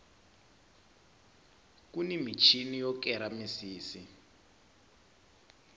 kuni michini yo kera misisi